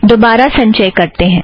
दोबारा संचय करते हैं